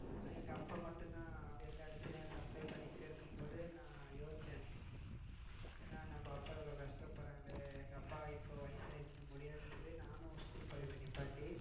நானும் எங்க அப்பா மட்டும் தான் எல்லா இடத்திலும் supply பன்னிட்டு இருக்கும் போது நான் யோசிச்சேன் என்ன நம்ம அப்பா இவளோ கஷ்டப்படுறாங்களே. எங்க அப்பா இப்போ வயசாயிடிச்சு முடியாதுனு சொல்லி நானும் school படிப்பை நிப்பாட்டி.